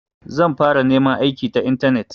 Zan fara neman aiki ta intanet.